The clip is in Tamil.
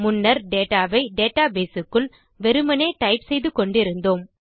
முன்னே டேட்டா வை டேட்டாபேஸ் க்குள் வெறுமே டைப் செய்து கொண்டிருந்தோம்